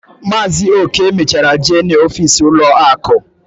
Maazi Oke mechara jee na ọfịs ụlọ akụ